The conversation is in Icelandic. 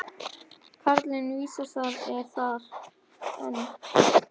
Karlinn vísast er þar enn.